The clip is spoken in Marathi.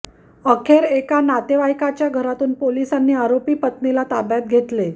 अखेर एका नातेवाईकाच्या घरातून पोलिसांनी आरोपी पत्नीला ताब्यात घेतले